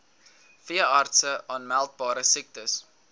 veeartse aanmeldbare siektes